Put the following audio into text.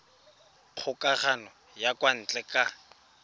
kgokagano ya kwa ntle ka